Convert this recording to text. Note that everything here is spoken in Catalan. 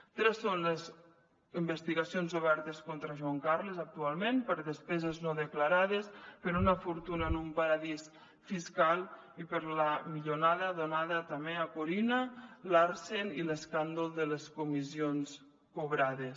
tres són les investigacions obertes contra joan carles actualment per despeses no declarades per una fortuna en un paradís fiscal i per la milionada donada també a corinna larsen i l’escàndol de les comissions cobrades